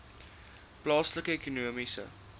plaaslike ekonomiese